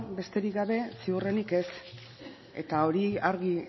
besterik gabe ziurrenik ez eta hori argi